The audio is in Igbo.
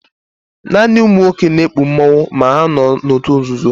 Naani ụmụnwọke na-ekpụ mmanwụ, ma ha nọ n'ọtụ nzụzọ.